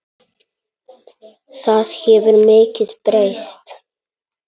Það hefur mikið breyst.